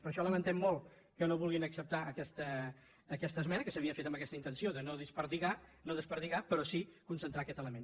per això lamentem molt que no vulguin acceptar aquesta esmena que s’havia fet amb aquesta intenció de no escampar de no escampar però sí concentrar aquest element